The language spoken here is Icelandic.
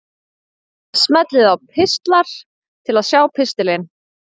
Smellið á Pistlar til að sjá pistilinn.